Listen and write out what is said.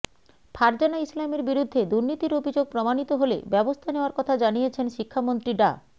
ফারজানা ইসলামের বিরুদ্ধে দুর্নীতির অভিযোগ প্রমাণিত হলে ব্যবস্থা নেওয়ার কথা জানিয়েছেন শিক্ষামন্ত্রী ডা